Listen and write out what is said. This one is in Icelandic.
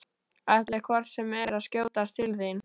Ætlaði hvort sem er að skjótast til þín.